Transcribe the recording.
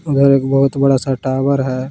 उधर एक बहुत बड़ा सा टावर है।